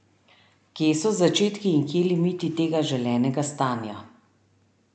Kje so začetki in kje limiti tega želenega stanja?